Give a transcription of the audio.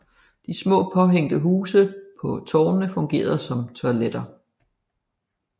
De små påhængte huse på tårnene fungerede som toiletter